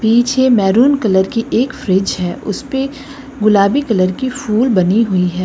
नीचे maroon colour की एक फ्रिज है उस पे गुलाबी कलर की फूल बनी हुई है।